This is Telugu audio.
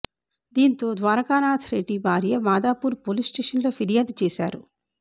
దీంతో ద్వారకానాథ్ రెడ్డి భార్య మాదాపూర్ పోలీస్ స్టేషన్ లో ఫిర్యాదు చేశారు